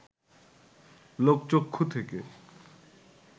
লোকচক্ষু থেকে